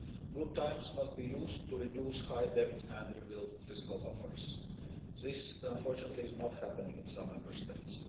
Good times must be used to reduce high debt and rebuild fiscal buffers. This, unfortunately, is not happening in some Member States.